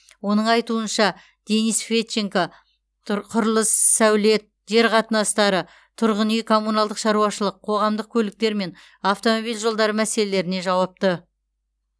оның айтуынша денис федченко тұр құрылыс сәулет жер қатынастары тұрғын үй коммуналдық шаруашылық қоғамдық көліктер мен автомобиль жолдары мәселелеріне жауапты